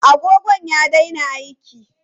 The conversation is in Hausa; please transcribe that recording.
Agogon ya daina aiki.